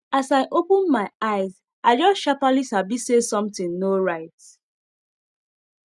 as i open my eyes i just sharperly sabi say sontin nor right